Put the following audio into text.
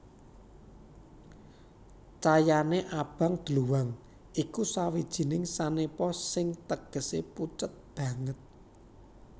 Cayané abang dluwang iku sawijining sanepa sing tegesé pucet banget